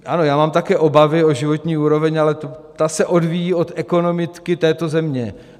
Ano, já mám také obavy o životní úroveň, ale ta se odvíjí od ekonomiky této země.